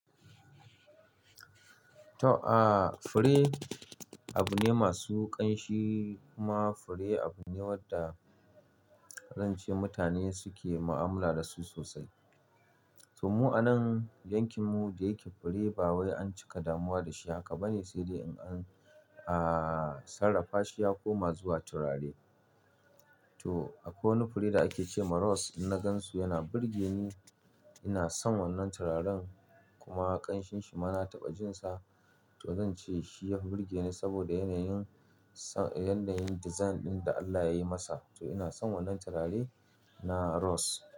To, aa fure abu ne masu ƙanshi kuma fure abu ne wanda zan ce mutane suke ma'amala da su sosai. To mu a nan yankin mu da yake fure ba wai an cika damuwa da shi haka ba ne, sai dai in an, aa sarrafa shi ya koma zuwa turare. To akwai wani fure da ake ce ma rose, in na gansu yana burge ni, ina son wannan turaren kuma ƙanshinsa ma na taɓa jin sa. To zan ce shi ya fi burge ni saboda yanayin, yanayin design ɗin da Allah yayi masa. To ina son wannan turare na rose.